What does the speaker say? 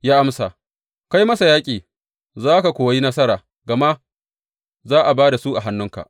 Ya amsa, Kai masa yaƙi za ka kuwa yi nasara, gama za a ba da su a hannunka.